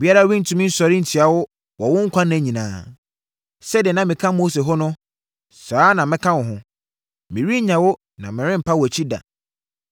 Obiara rentumi nsɔre ntia wo wɔ wo nkwa nna nyinaa. Sɛdeɛ na meka Mose ho no, saa ara na mɛka wo ho. Merennya wo na merempa wʼakyi da.